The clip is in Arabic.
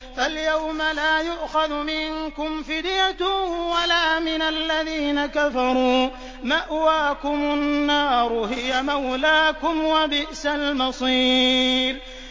فَالْيَوْمَ لَا يُؤْخَذُ مِنكُمْ فِدْيَةٌ وَلَا مِنَ الَّذِينَ كَفَرُوا ۚ مَأْوَاكُمُ النَّارُ ۖ هِيَ مَوْلَاكُمْ ۖ وَبِئْسَ الْمَصِيرُ